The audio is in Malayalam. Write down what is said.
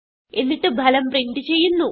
എന്നിട്ട് ഫലം പ്രിന്റ് ചെയ്യുന്നു